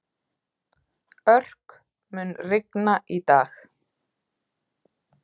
Örk, mun rigna í dag?